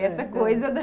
É essa coisa da...